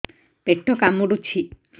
ପେଟ କାମୁଡୁଛି